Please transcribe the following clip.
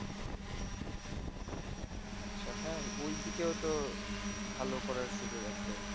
আচ্ছা হ্যাঁ, ওইদিকেও তো ভালো করার সুযোগ আছে।